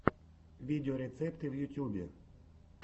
видеорецепты в ютюбе